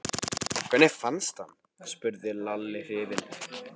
Hvernig fannstu hann? spurði Lalli hrifinn.